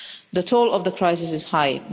The toll of the crisis is high.